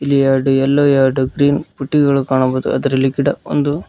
ಇಲ್ಲಿ ಎರಡು ಎಲ್ಲೋ ಎರಡು ಗ್ರೀನ್ ಪುಟ್ಟಿಗಳು ಕಾಣಬಹುದು ಅದರಲ್ಲಿ ಗಿಡ ಒಂದು.